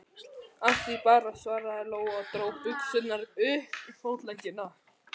Af því bara, svaraði Lóa og dró buxurnar upp fótleggina.